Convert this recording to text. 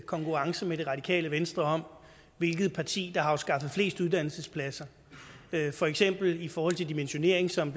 konkurrence med det radikale venstre om hvilket parti der har afskaffet flest uddannelsespladser for eksempel i forhold til dimensionering som